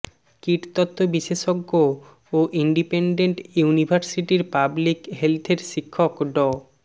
কীটতত্ত্ব বিশেষজ্ঞ ও ইনডিপেনডেন্ট ইউনিভার্সিটির পাবলিক হেলথের শিক্ষক ড